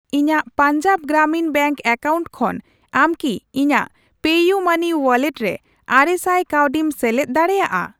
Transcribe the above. ᱤᱧᱟ.ᱜ Punjab Gramin bank account ᱠᱷᱚᱱ ᱟᱢ ᱠᱤ ᱤᱧᱟᱜ ᱯᱮᱤᱭᱩᱢᱟᱹᱱᱤ ᱣᱟᱞᱞᱮᱴ ᱨᱮ ᱟᱨᱮᱥᱟᱭ ᱠᱟᱹᱣᱰᱤᱢ ᱥᱮᱞᱮᱫ ᱫᱟᱲᱮᱭᱟᱜᱼᱟ ?